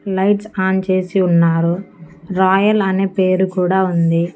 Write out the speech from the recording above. Lights on చేసి ఉన్నారు royal అనే పేరు కూడా ఉంది.